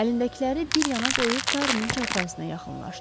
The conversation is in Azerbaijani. Əlindəkiləri bir yana qoyub Darunun çarpayısına yaxınlaşdı.